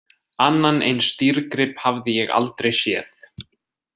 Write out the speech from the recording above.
Annan eins dýrgrip hafði ég aldrei séð.